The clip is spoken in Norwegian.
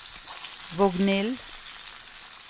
Vognill